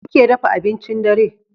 Me kuke dafa abincin dare?